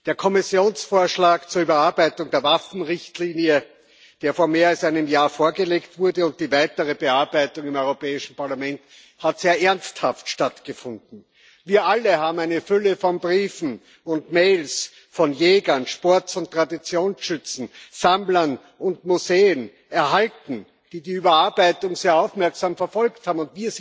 Die Vorlage des Kommissionsvorschlags zur Überarbeitung der Waffenrichtlinie, die vor mehr als einem Jahr erfolgte, und die weitere Bearbeitung im Europäischen Parlament haben sehr ernsthaft stattgefunden. Wir alle haben eine Fülle von Briefen und Mails von Jägern, Sport und Traditionsschützen, Sammlern und Museen erhalten, die die Überarbeitung sehr aufmerksam verfolgt haben.